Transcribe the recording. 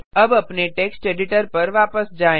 अब अपने text editor पर वापस जाएँ